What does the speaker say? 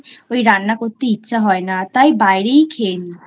ওই রান্না করতে ইচ্ছা হয় না তাই বাইরেই খেয়ে নিই।